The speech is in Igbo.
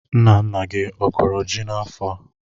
Nna nna gị a kọrọ ji n'afọ a?